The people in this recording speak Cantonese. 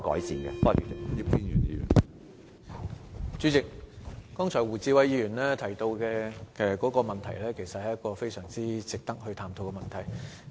主席，胡志偉議員剛才提到的問題，其實非常值得探討。